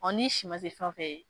Ɔ ni si ma se fɛn fɛ ye.